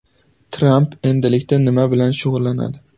Tramp endilikda nima bilan shug‘ullanadi?